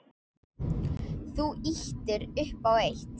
Þú ýtir upp á eitt.